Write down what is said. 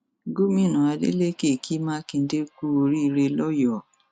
gomina adeleke ki makinde kú oríire lọyọọ